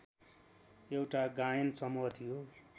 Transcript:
एउटा गायन समूह थियो